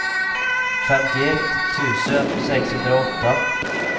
femtioett tusen sexhundraåtta